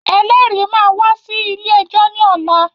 Ẹlẹ́rìí máa wá sí ilé-ẹjọ́ ní ọ̀la.